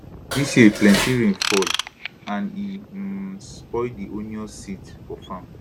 dis year plenty rain fall and e um spoil di onions seeds for farm